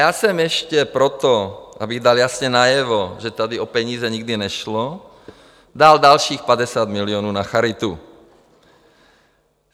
Já jsem ještě proto, abych dal jasně najevo, že tady o peníze nikdy nešlo, dal dalších 50 milionů na charitu.